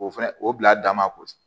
O fɛnɛ o bila damako